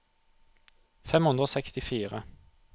fem hundre og sekstifire